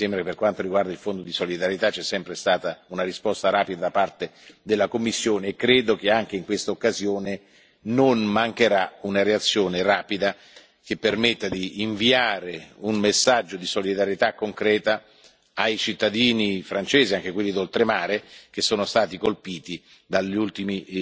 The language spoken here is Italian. Quindi, mi sembra che, per quanto riguarda il Fondo di solidarietà, ci sia sempre stata una risposta rapida da parte della Commissione, e credo che anche in questa occasione non mancherà una reazione rapida, che permetta di inviare un messaggio di solidarietà concreta ai cittadini francesi, anche quelli d'oltremare, che sono stati colpiti dagli ultimi